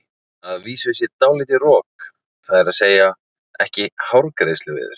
Að vísu sé dálítið rok, það er að segja ekki hárgreiðsluveður.